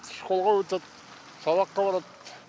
школға өтеді сабаққа барады